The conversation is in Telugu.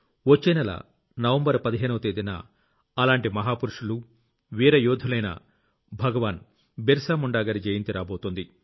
వచ్చే నెల నవంబర్ 15వ తేదీన అలాంటి మహా పురుషులు వీర యోధులైన భగవాన్ బిరసా ముండ్ గారి జయంతి రాబోతోంది